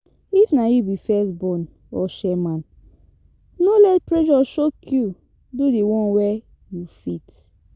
If na you be first born or chairman, no let pressure choke you, do di one wey you fit